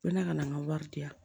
Ko ne ka na n ka wari di yan